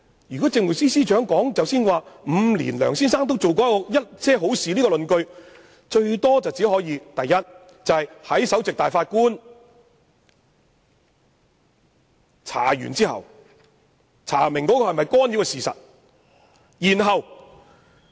主席，政務司司長有關梁先生在5年內做過一些好事的論點，最多可以應用在首席法官完成調查干預是否屬實後。